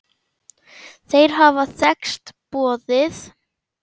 Þeir hafa þekkst boðið.